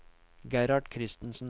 Gerhard Christensen